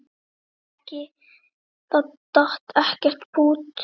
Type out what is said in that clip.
Það datt ekkert pútt.